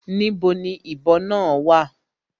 Níbo ni ìbọ náà wà?